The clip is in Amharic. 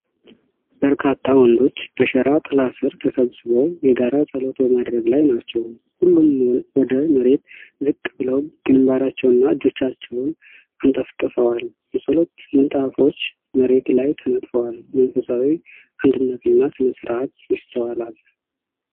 በርካታ ወንዶች በሸራ ጥላ ሥር ተሰብስበው የጋራ ጸሎት በማድረግ ላይ ናቸው። ሁሉም ወደ መሬት ዝቅ ብለው ግንባራቸውንና እጆቻቸውን አንጠፍጥፈዋል። የጸሎት ምንጣፎች መሬት ላይ ተነጥፈዋል። መንፈሳዊ አንድነትና ሥነ-ሥርዓት ይስተዋላል።